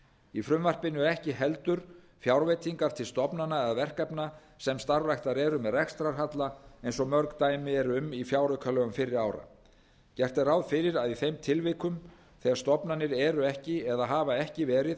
í frumvarpinu eru ekki heldur fjárveitingar til stofnana eða verkefna sem starfrækt eru með rekstrarhalla eins og mörg dæmi eru um í fjáraukalögum fyrri ára gert er ráð fyrir að í þeim tilvikum þegar stofnanir eru ekki eða hafa ekki verið að